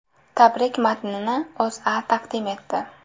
Tabrik matnini O‘zA taqdim etdi .